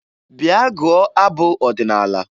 Bịa gụọ abụ ọdịnaala!